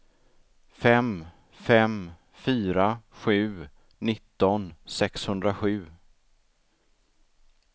fem fem fyra sju nitton sexhundrasju